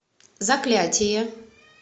заклятие